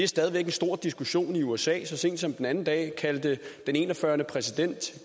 stadig væk en stor diskussion i usa så sent som den anden dag kaldte den en og fyrre præsident